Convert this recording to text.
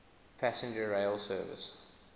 passenger rail service